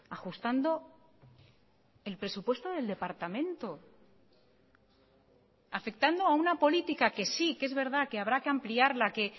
ajustando el presupuesto del departamento afectando a una política que sí que es verdad quehabrá que ampliarla que